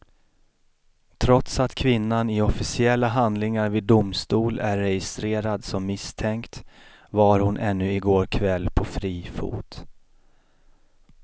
Trots att kvinnan i officiella handlingar vid domstol är registrerad som misstänkt var hon ännu i går kväll på fri fot.